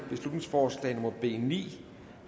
beslutningsforslag nummer b ni